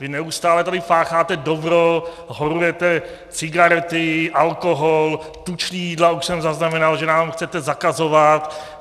Vy neustále tady pácháte dobro, horujete, cigarety, alkohol, tučná jídla, už jsem zaznamenal, že nám chcete zakazovat.